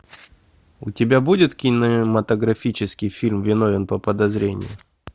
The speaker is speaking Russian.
у тебя будет кинематографический фильм виновен по подозрению